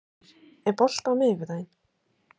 Kristgeir, er bolti á miðvikudaginn?